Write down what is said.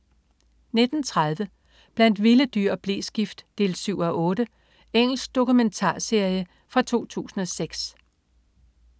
19.30 Blandt vilde dyr og bleskift 7:8. Engelsk dokumentarserie fra 2006